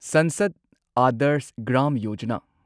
Sansad Adarsh Gram Yojana